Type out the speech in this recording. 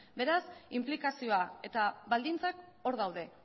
beraz inplikazioa eta baldintzak hor daude